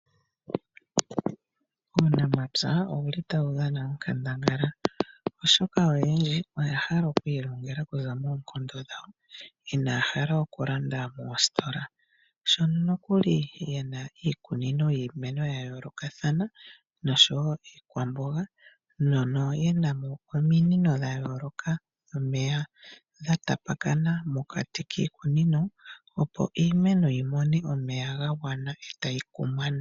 Uunamapya otawu dhana onkandangala, oshoka aantu oyendji oyahala okwiilongele okuza moonkondo dhawo inaya hala okulanda moositola. Aantu oya kuna iikunino yiimeno yayolokathana nosho woo iikwamboga, no miikunino muka omuna ominino dhomeya odhindji dhokutekela iimeno.